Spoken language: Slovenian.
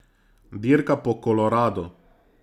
Dirka po Koloradu.